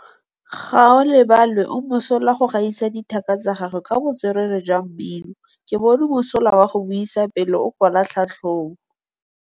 Gaolebalwe o mosola go gaisa dithaka tsa gagwe ka botswerere jwa mmino. Ke bone mosola wa go buisa pele o kwala tlhatlhobô.